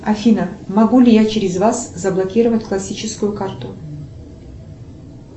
афина могу ли я через вас заблокировать классическую карту